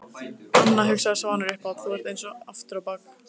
Anna, hugsaði Svanur upphátt, þú ert eins aftur á bak.